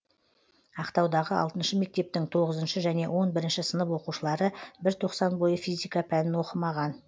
ақтаудағы алтыншы мектептің тоғызыншы және он бірінші сынып оқушылары бір тоқсан бойы физика пәнін оқымаған